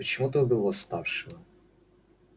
почему ты убил восставшего